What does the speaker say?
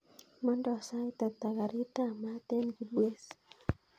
Mandaa sait ata karit ap maat en kibwezi